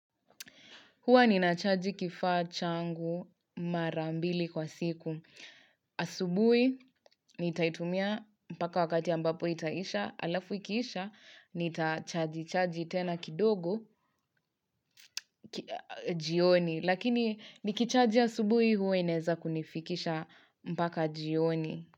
Huwa ni nachaji kifaa changu marambili kwa siku. Asubui, nitaitumia mpaka wakati ambapo itaisha, alafu ikiisha, nitachaji chaji tena kidogo, jioni. Lakini, nikichaji asubui, huwa inaeza kunifikisha mpaka jioni.